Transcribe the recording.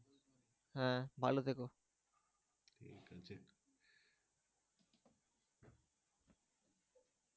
হ্যাঁ ভালো থেকো।